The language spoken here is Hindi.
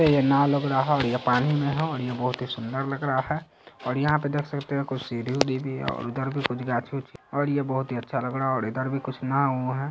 यह नाव लग रहा है और यह पानी में है और यह बहुत ही सुन्दर लग रहा है और यहाँ पे देख सकते है कुछ सीढ़ी-वुढी भी है और उधर भी कुछ गाछी-उछी और ये बहुत ही अच्छा लग रहा है और इधर भी कुछ नाव-उव है।